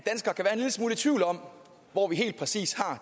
i tvivl om